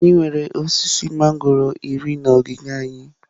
Anyị nwere osisi mangọrọ iri na ogige anyi.